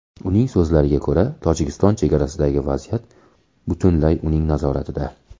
Uning so‘zlariga ko‘ra, Tojikiston chegarasidagi vaziyat butunlay uning nazoratida.